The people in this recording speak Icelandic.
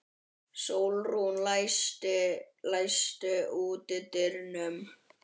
Sólrún, læstu útidyrunum.